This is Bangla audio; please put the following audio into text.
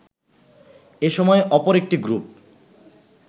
এসময়ে অপর একটি গ্রুপ